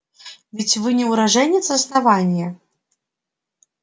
ведь вы не уроженец основания